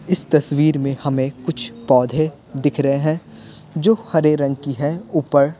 इस तस्वीर में हमें कुछ पौधे दिख रहे हैं जो हरे रंग की हैऊपर--